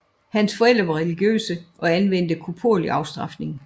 Hans forældre var religiøse og anvendte koporlig afstrafning